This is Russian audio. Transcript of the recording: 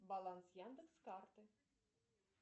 баланс яндекс карты